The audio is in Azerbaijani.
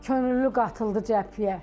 Könüllü qatıldı cəbhəyə.